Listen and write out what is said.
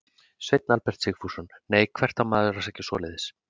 Sveinn Albert Sigfússon: Nei, hvert á maður að sækja svoleiðis?